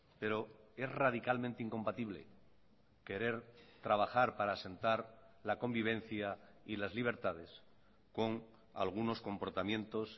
pero es radicalmente incompatible querer trabajar para asentar la convivencia y las libertades con algunos comportamientos